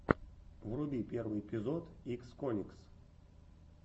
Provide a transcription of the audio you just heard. вруби первый эпизод иксконикс